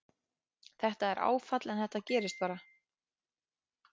Þetta er áfall en þetta gerist bara.